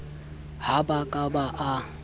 ha ba ka ba a